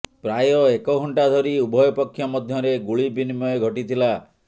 ପ୍ରାୟ ଏକ ଘଣ୍ଟା ଧରି ଉଭୟ ପକ୍ଷ ମଧ୍ୟରେ ଗୁଳି ବିନିମୟ ଘଟିଥିଲା